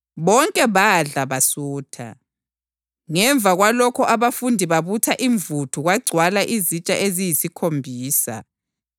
Bonke badla basutha. Ngemva kwalokho abafundi babutha imvuthu kwagcwala izitsha eziyisikhombisa.